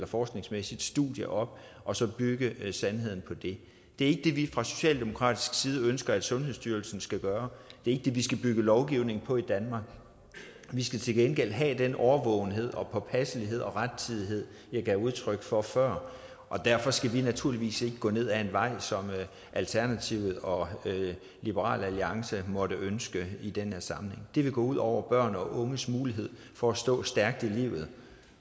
forskningsmæssigt studie op og så bygge sandheden på det det er ikke det vi fra socialdemokratisk side ønsker at sundhedsstyrelsen skal gøre det er ikke det vi skal bygge lovgivning på i danmark vi skal til gengæld have den årvågenhed påpasselighed og rettidighed jeg gav udtryk for før og derfor skal vi naturligvis ikke gå ned ad en vej som alternativet og liberal alliance måtte ønske i den her sammenhæng det vil gå ud over børn og unges mulighed for at stå stærkt i livet